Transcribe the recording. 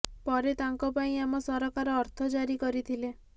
ପରେ ତାଙ୍କ ପାଇଁ ଆମ ସରକାର ଅର୍ଥ ଜାରି କରିଥିଲେ